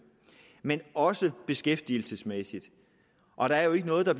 men det også beskæftigelsesmæssigt og der er jo ikke noget der